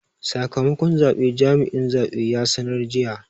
Sakamakon zabe jami'in zabe ya sanar jiya.